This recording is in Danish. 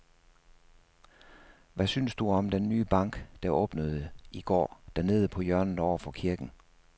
Hvad synes du om den nye bank, der åbnede i går dernede på hjørnet over for kirken?